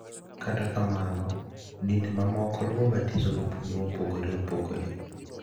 Kata kamano, dinde mamoko luwo batiso gi puonj mopogore opogore.